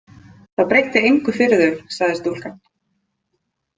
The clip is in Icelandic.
Það breytti engu fyrir þau, sagði stúlkan.